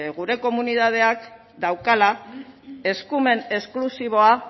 gure komunitateak daukala eskumen esklusiboa